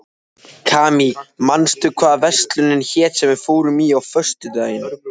Kamí, manstu hvað verslunin hét sem við fórum í á föstudaginn?